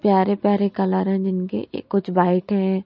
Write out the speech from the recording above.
प्यारे प्यारे कलर है जिनके कुछ व्हाइट हैं।